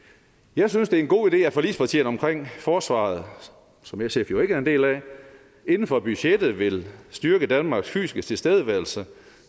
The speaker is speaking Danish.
jeg synes det er en god idé at forligspartierne omkring forsvaret som sf jo ikke er en del af inden for budgettet vil styrke danmarks fysiske tilstedeværelse